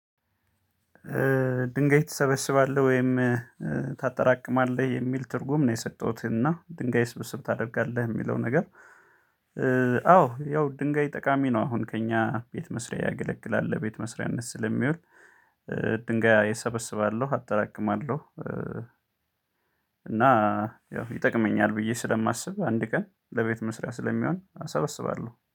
ድንጋይ ትሰበስባለህ ወይም ታጠራቅማለህ? የሚል ትርጉም ነው የሰጠሁት እና ድንጋይ ስብስብ ታደርጋለህ የሚለው ነገር አዎ ያው ድንጋይ ጠቃሚ ነው አሁን ከእኛ ቤት መስሪያ ያገለግላል ቤት መስሪያነት ስለሚውል ድንጋይ እሰበስባለሁ፣ አጠራቅማለሁ፣ እና ያው ይጠቅመኛል ብዬ ስለማስብ አንድ ቀን ለቤት መስሪያ ስለሚሆን አሰበስባለሁ።